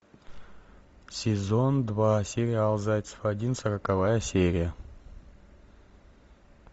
сезон два сериал зайцев один сороковая серия